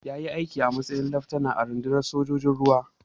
Ya yi aiki a matsayin laftanar a cikin rundunar sojojin ruwa.